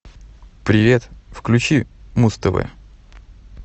привет включи муз тв